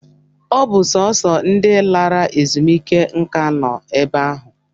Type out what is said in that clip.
Ọ bụ sọọsọ ndị lara ezumike nká nọ ebe ahụ